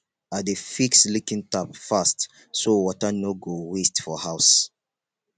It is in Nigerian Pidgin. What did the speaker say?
i dey fix leaking tap fast so water no go waste for house